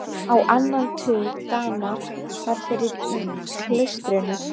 Á annan tug Dana var fyrir í klaustrinu.